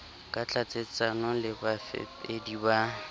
ka tlatsetsano le bafepedi ba